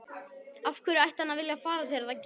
Af hverju ætti hann að vilja fara þegar það gerist?